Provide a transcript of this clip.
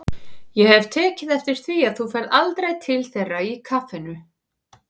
Ég hef tekið eftir því að þú ferð aldrei til þeirra í kaffinu.